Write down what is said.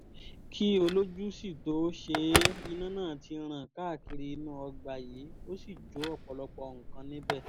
kí olójú sì tóo ṣe é iná náà ti ràn káàkiri inú ọgbà yìí ó sì jó ọ̀pọ̀lọpọ̀ nǹkan níbẹ̀